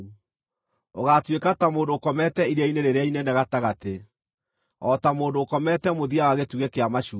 Ũgaatuĩka ta mũndũ ũkomete iria-inĩ rĩrĩa inene gatagatĩ, o ta mũndũ ũkomete mũthia wa gĩtugĩ kĩa macua.